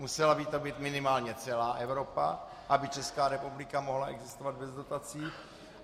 Musela by to být minimálně celá Evropa, aby Česká republika mohla existovat bez dotací.